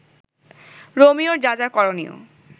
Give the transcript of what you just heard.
রোমিওর যা যা করণীয়